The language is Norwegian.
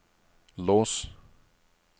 lås